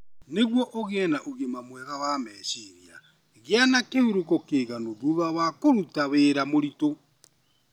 Nĩguo ũgĩe na ũgima mwega wa meciria, gĩa na kĩhurũko kĩiganu thutha wa kũruta wĩra mũritũ.